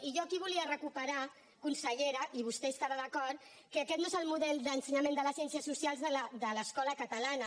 i jo aquí volia recuperar consellera i vostè hi estarà d’acord que aquest no és el model d’ensenyament de les ciències socials de l’escola catalana